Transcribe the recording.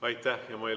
Aitäh!